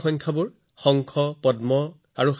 অন্ত্যং মধ্যং পৰাৰ্ধঃ চ দশ বৃদ্ধ্যা যথা ক্ৰমম